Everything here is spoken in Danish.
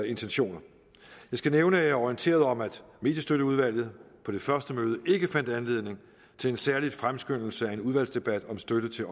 intentioner jeg skal nævne at jeg er orienteret om at mediestøtteudvalget på det første møde ikke fandt anledning til en særlig fremskyndelse af en udvalgsdebat om støtte til